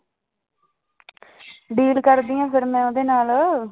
Deal ਕਰਦੀ ਹਾਂ ਫਿਰ ਮੈਂ ਉਹਦੇ ਨਾਲ।